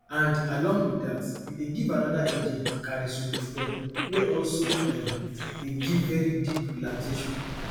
and along with dat you dey give another agent carisoprodol wey also um dey give very deep sleep relaxation